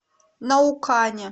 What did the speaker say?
наукане